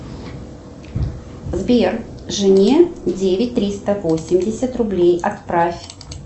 сбер жене девять триста восемьдесят рублей отправь